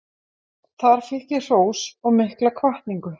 Þar fékk ég hrós og mikla hvatningu.